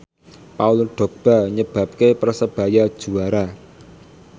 Paul Dogba nyebabke Persebaya juara